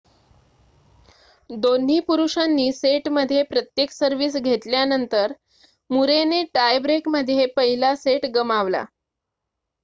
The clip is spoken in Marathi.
दोन्ही पुरुषांनी सेटमध्ये प्रत्येक सर्विस घेतल्यानंतर मुरे ने टाय ब्रेकमध्ये पहिला सेट गमावला